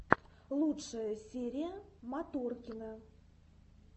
лучшая серия моторкина